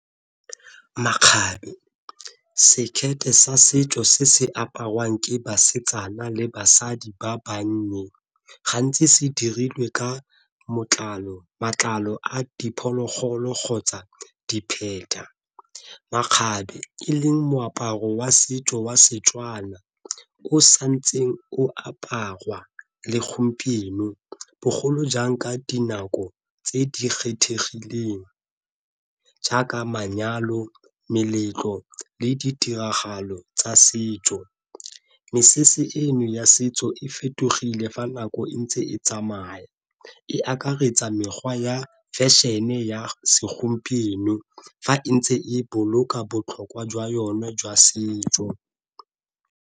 Makgabe, sekete sa setso se se aparwang ke basetsana le basadi ba bannye gantsi se dirilwe ka matlalo a diphologolo kgotsa . Makgabe e leng moaparo wa setso wa Setswana o sa ntseng o aparwa le gompieno bogolo jang ka dinako tse di kgethegileng jaaka manyalo, meletlo, le ditiragalo tsa setso. Mesese eno ya setso e fetogile fa nako e ntse e tsamaya, e akaretsa mekgwa ya fashion-e ya segompieno fa e ntse e boloka botlhokwa jwa yone jwa setso.